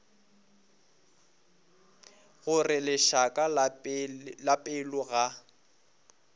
gore lešaka la pelo ga